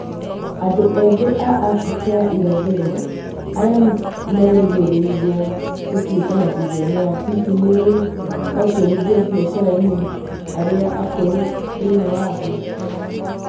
Andũ ethĩ a Afrika ya irathĩro arĩa merĩgĩrĩirwo gũtũĩka mabilionea hihi nĩũĩ onjorithia biacara-inĩ arĩa akũrũ thĩinĩ wa thĩ?